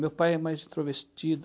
Meu pai é mais introvertido.